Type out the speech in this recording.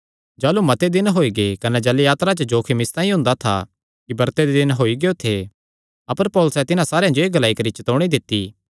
जाह़लू मते दिन होई गै कने जलयात्रा च जोखिम इसतांई हुंदा था कि ब्रते दे दिन होई गियो थे अपर पौलुसैं तिन्हां सारेयां जो एह़ ग्लाई करी चतौणी दित्ती